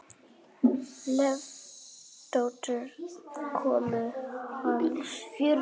Loftsdóttur, konu hans.